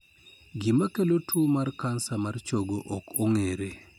Gima kelo tuwo mar kansa mar chogo ok ong'ere.